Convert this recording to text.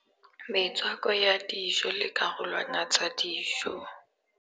Metswako ya dijo le karolwana tsa dijo